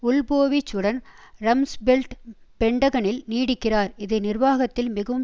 Wolfowitz உடன் Rumsfeld பென்டகனில் நீடிக்கிறார் இது நிர்வாகத்தில் மிகவும்